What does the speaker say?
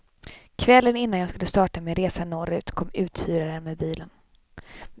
Kvällen innan jag skulle starta min resa norrut, kom uthyraren med bilen.